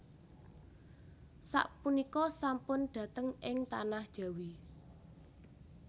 Sapunika sampun dhateng ing tanah Jawi